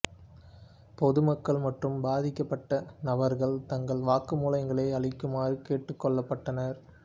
பொதுமக்கள் மற்றும் பாதிக்கப்பட்ட நபர்கள் தங்கள் வாக்குமூலங்களை அளிக்குமாறு கேட்டுக்கொள்ளப்பட்டனர்